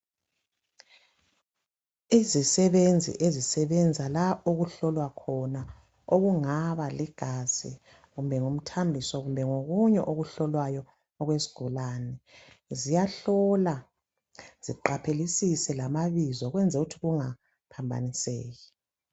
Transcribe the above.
Izisebenzi ezisebenza la okuhlolwa khona okungaba ligazi kumbe ngumthambiso kube ngokunye okuhlolwayo okwesigulane ziyahlola ziqaphelisise lamabizo ukwenzela ukuthi kungaphambaniseki